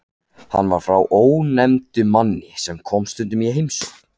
Hann var frá ónefndum manni sem kom stundum í heimsókn.